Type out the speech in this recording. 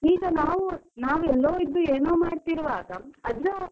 ಈಗ ನಾವು ಎಲ್ಲೋ ಇದ್ದೋ ಏನೋ ಮಾಡ್ತಿರುವಾಗ ಅದ್ರ.